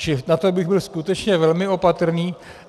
Čili na to bych byl skutečně velmi opatrný.